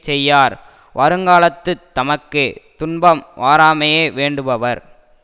செய்யார் வருங்காலத்துத் தமக்கு துன்பம் வாராமையே வேண்டுபவர்